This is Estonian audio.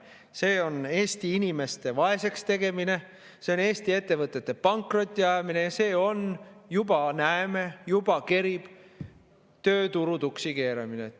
See on Eesti inimeste vaeseks tegemine, see on Eesti ettevõtete pankrotti ajamine ja see on – juba näeme, juba kerib – tööturu tuksi keeramine.